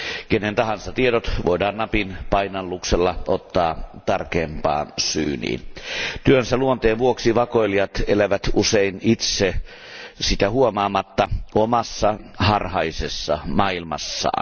Kenen tahansa tiedot voidaan napin painalluksella ottaa tarkempaan syyniin. Työnsä luonteen vuoksi vakoilijat elävät usein itse sitä huomaamatta omassa harhaisessa maailmassaan.